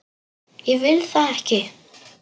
Ég vil það ekki.